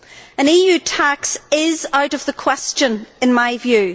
An EU tax is out of the question in my view.